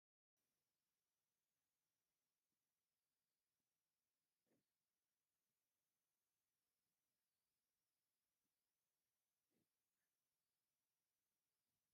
ኣብ ዝኾነ መዘናግዒ ቦታ ሓደ መላጥ ሰብ ካብ ደረት ንላዕሊ ዝኾነ ሓወልቲ ተሰሪሑሎም ኣሎ፡፡ እዞም ሰብኣይ ባሻይ ኣውዓሎም ዶ ይኮኑ?